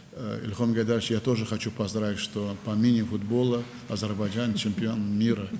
İlham Heydər oğlu, mən də təbrik etmək istəyirəm ki, mini-futbol üzrə Azərbaycan dünya çempionudur.